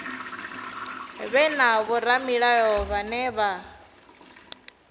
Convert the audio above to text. vhe na vhoramilayo vhane vha